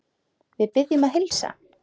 Við biðjum að heilsa.